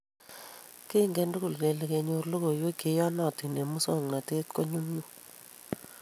Kengen tugul kele kenyor logoiywek che iyonotin eng musoknotet ko manyumnyum .